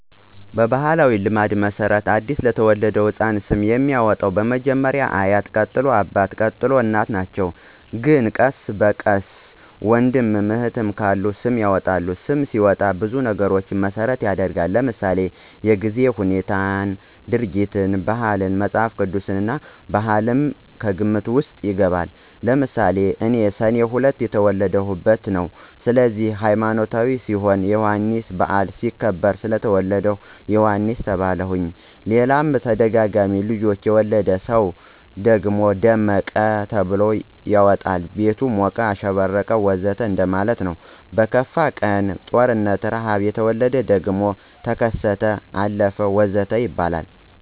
በባሕላዊ ልማድ መሠረት ለ አዲስ የተወለደ ሕፃን ስም የሚያወጣዉ መጀመሪያ አያት ቀጥሎ አባት፣ ቀጥሎ እናት ናቸው ግን ቀስ በቀስ ወንድምም እህትም ካለ ስም ያወጡለታል። ስም ሲወጣ ብዙ ነገሮችን መሰረት ይደረጋል ለምሳሌ:-የጊዜን ሁነት፣ ድርጊትን፣ ባህላትን፣ መፅሐፍ ቅዱስን፣ ባህልም ከግምት ውስጥ ይገባል። ለምሳሌ እኔ ሰኔ 2 የተወለድሁበት ነው ስለዚህ ሀይማኖታዊ ሲሆን የዮሐንስ በዓል ሲከበር ስለተወለድሁ ዮሐንስ ተባልሁኝ ሌላም ተደጋጋሚ ልጆች የወለደ ሰው ደመቀ ብሎ ያወጣል ቤቱ ሞቀ፣ አሸበረቀ ወዘተ እንደማለት ነው። በክፉ ቀን(ጦርነት፣ ርሐብ) የተወለደ ደግሞ ተከሰተ፣ አለፈ ወዘተ ይባላል